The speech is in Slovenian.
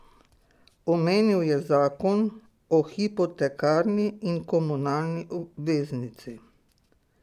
Omenil je zakon o hipotekarni in komunalni obveznici.